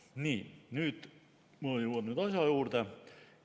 Nii, nüüd ma jõuan asja juurde.